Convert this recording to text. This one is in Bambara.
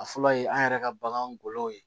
A fɔlɔ ye an yɛrɛ ka bagan golow ye